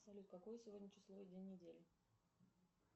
салют какое сегодня число и день недели